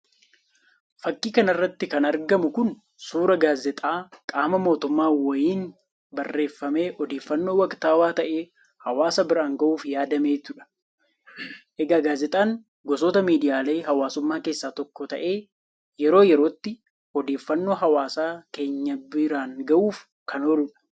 Fakkii kana irratti kan argamu Kun, suuraa gaazeexaa qaama mootummaa wayiin barreeffamee odeeffannoo waktawaa ta'e hawaasa biraan gahuuf yaadametudha. Egaa gaazeexaan gosoota miidiyaalee hawaasummaa keessa tokko ta'ee yeroo yerootti odeeffannoo hawaasa keenya biraan gahuuf kan ooludha.